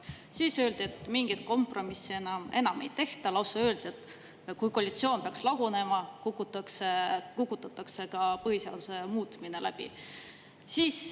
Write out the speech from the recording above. Siis öeldi, et mingit kompromissi enam ei tehta, lausa öeldi, et kui koalitsioon peaks lagunema, kukutatakse ka põhiseaduse muutmine läbi.